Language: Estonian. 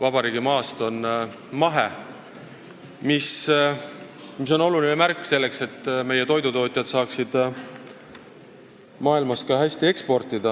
Vabariigi maast on n-ö mahe, mis on oluline märk, selleks et meie toidutootjad saaksid maailmas ka hästi eksportida.